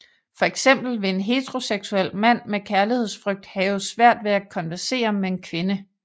For eksempel vil en heteroseksuel mand med kærlighedsfrygt have svært ved at konversere med en kvinde